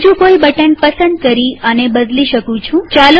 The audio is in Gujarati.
હું બીજું કોઈ બટન પસંદ કરી આને બદલી શકું છું